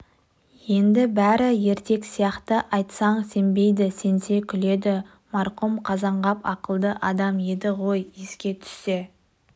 енді бәрі ертек сияқты айтсаң сенбейді сенсе күледі марқұм қазанғап ақылды адам еді ғой еске түссе